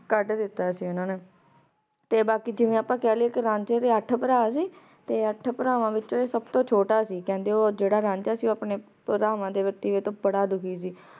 ਕਦ ਦਿਤਾ ਸੀ ਓਨਾਂ ਨੇ ਤੇ ਬਾਕੀ ਜਿਵੇਂ ਆਪਾਂ ਕਹ ਲਿਯੇ ਕੇ ਰਾਂਝੇ ਦੇ ਅਠ ਪਰ ਸੀ ਤੇ ਅਠ ਪਰਵਾਨ ਵਿਚੋਂ ਸਬ ਤੋਂ ਛੋਟਾ ਸੀ ਕੇਹ੍ਨ੍ਡੇ ਊ ਜੇਰਾ ਰਾਂਝਾ ਸੀ ਪਰਵਾਨ ਆਯ ਵਾਰ੍ਤੀਤ ਤੋਂ ਬਾਰਾ ਦੁਖੀ ਸੀ